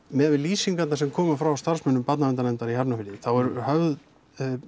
miðað við lýsingarnar sem komu frá starfsmönnum barnaverndarnefndar í Hafnarfirði þá eru höfð